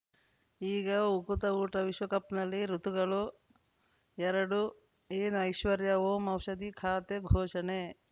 ಈಗ ಉಕುತ ಊಟ ವಿಶ್ವಕಪ್‌ನಲ್ಲಿ ಋತುಗಳು ಎರಡು ಏನು ಐಶ್ವರ್ಯಾ ಓಂ ಔಷಧಿ ಖಾತೆ ಘೋಷಣೆ